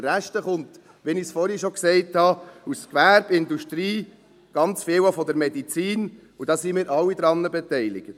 Der Rest kommt, wie ich es vorhin schon gesagt habe, aus Gewerbe, Industrie, ganz viel auch aus der Medizin, und da sind wir alle daran beteiligt.